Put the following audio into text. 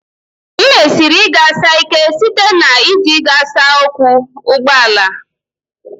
M mesiri ịghasa ike site na iji ịghasa ọkwọ ụgbọala